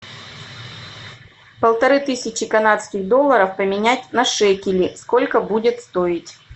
полторы тысячи канадских долларов поменять на шекели сколько будет стоить